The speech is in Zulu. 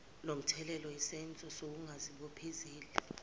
lomthelela yisenzo sokungazibophezeli